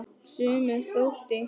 Sumum þótti!